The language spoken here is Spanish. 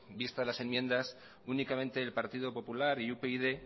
vistas las enmiendas únicamente el partido popular y upyd